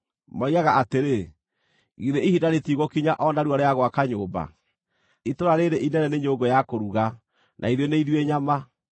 Moigaga atĩrĩ, ‘Githĩ ihinda rĩtigũkinya o narua rĩa gwaka nyũmba? Itũũra rĩĩrĩ inene nĩ nyũngũ ya kũruga, na ithuĩ nĩ ithuĩ nyama.’